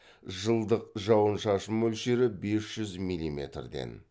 жылдық жауын шашын мөлшері бес жүз милиметрден